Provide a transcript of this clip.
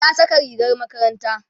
ta Saka rigar makaranta